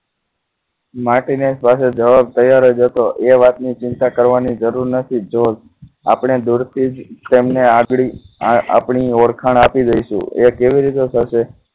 માર્ટીને પાસે જવાબ તૈયાર જ હતો એ વાતની ચિંતા કરવાની જરૂર નથી આપણે દૂરથી જ તેમને આંગળી આપણી ઓળખાણ આપી દઈશું એ કેવી રીતે થશે